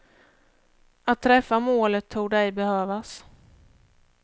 Att träffa målet torde ej behövas.